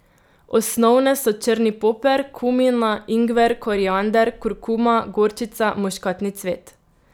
Osnovne so črni poper, kumina, ingver, koriander, kurkuma, gorčica, muškatni cvet.